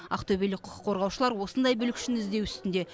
ақтөбелік құқық қорғаушылар осындай бүлікшіні іздеу үстінде